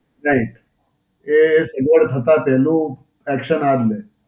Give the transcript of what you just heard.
right. એ સગવડ થતાં પહેલું action આજ લે.